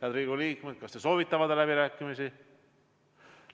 Head Riigikogu liikmed, kas te soovite pidada läbirääkimisi?